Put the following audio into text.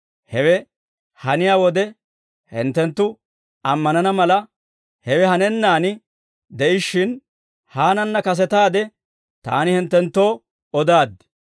Hewe haniyaa wode hinttenttu ammanana mala, hewe hanennaan de'ishshin, haananna kasetaade Taani hinttenttoo odaaddi.